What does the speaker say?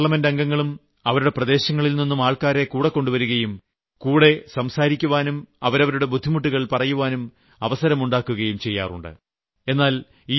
നമ്മുടെ പാർലമെന്റ് അംഗങ്ങളും അവരുടെ പ്രദേശങ്ങളിൽ നിന്നും ആൾക്കാരെ കൂടെകൊണ്ട് വരികയും കൂടികാണാനും സംസാരിക്കാനും അവരവരുടെ ബുദ്ധിമുട്ടുകൾ പറയാൻ അവസരമുണ്ടാക്കുകയും ചെയ്യാറുണ്ട്